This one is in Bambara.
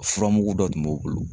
Furamugu dɔ tun b'u bolo